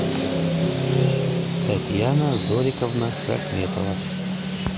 татьяна зориковна рахметова